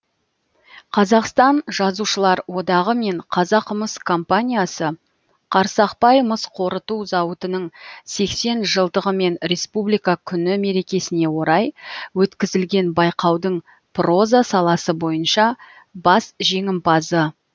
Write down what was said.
қазақстан жазушылар одағы мен қазақмыс компаниясы қарсақбай мыс қорыту зауытының сексен жылдығы мен республика күні мерекесіне орай өткізілген байқаудың проза саласы бойынша бас жеңімпазы